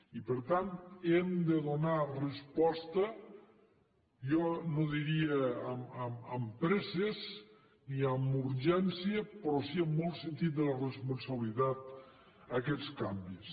i per tant hem de donar resposta jo no diria amb presses ni amb urgència però sí amb molt sentit de la responsabilitat a aquests canvis